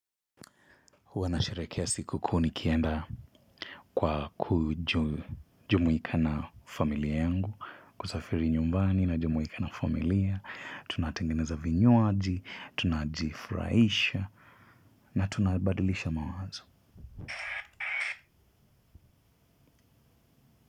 Huwanasherekia siku ku nikienda kwa kujumuika na familia yangu, kusafiri nyumbani na jumuika na familia, tunatengeneza vinyoaji, tunajifuraisha, na tunabadilisha mawazo.